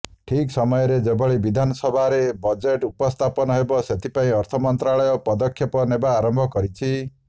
ଠିକ୍ ସମୟରେ ଯେଭଳି ବିଧାନସଭାରେ ବଜେଟ୍ ଉପସ୍ଥାପନ ହେବ ସେଥିପାଇଁ ଅର୍ଥ ମନ୍ତ୍ରାଳୟ ପଦକ୍ଷେପ ନେବା ଆରମ୍ଭ କରିଛି